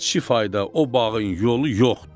Amma tifayda, o bağın yolu yoxdur.